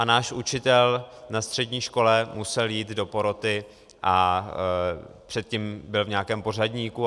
A náš učitel na střední škole musel jít do poroty a předtím byl v nějakém pořadníku.